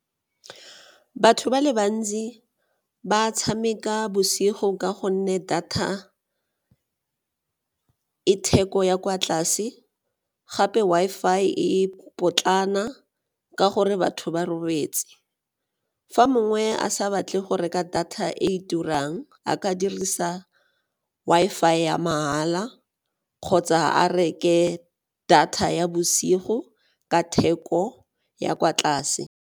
Batho ba le bantsi ba tshameka bosigo ka gonne data e theko ya kwa tlase gape Wi-Fi e potlana ka gore batho ba robetse. Fa mongwe a sa batle go reka data e e turang a ka dirisa Wi-Fi ya mahala kgotsa a reke data ya bosigo ka theko ya kwa tlase.